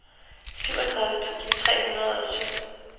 syvogtredive tusind tre hundrede og syv